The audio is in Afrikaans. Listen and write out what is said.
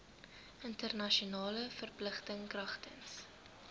internasionale verpligtinge kragtens